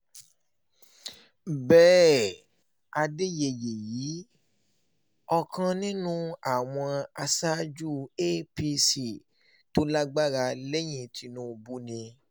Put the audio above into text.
bẹ́ẹ̀ adẹ́yẹyẹ yìí ọ̀kan nínú àwọn aṣáájú apc tó lágbára lẹ́yìn tìṣubù ni